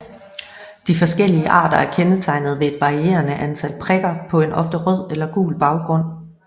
De forskellige arter er kendetegnet ved et varierende antal prikker på en ofte rød eller gul baggrund